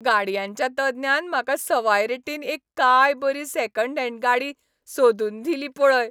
गाडयांच्या तज्ञान म्हाका सवाय रेटीन एक काय बरी सॅकंड हँड गाडी सोदून दिली पळय.